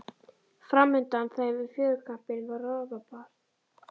Fram undan þeim við fjörukambinn var rofabarð.